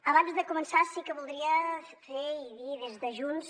abans de començar sí que voldria fer i dir des de junts